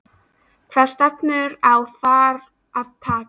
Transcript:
Hvaða stefnu á þar að taka?